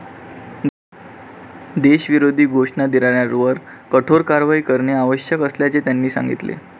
देशविरोधी घोषणा देणाऱ्यांवर कठोर कारवाई करणे आवश्यक असल्याचे त्यांनी सांगितले.